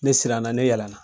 Ne siran na ne yɛlɛna.